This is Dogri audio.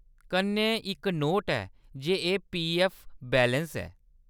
कन्नै इक नोट ऐ जे एह्‌‌ पीऐफ्फ बैलेंस ऐ।